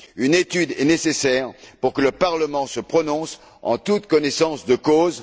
Une étude est nécessaire pour que le Parlement se prononce en toute connaissance de cause.